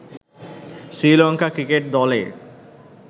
Sri Lanka cricket দলে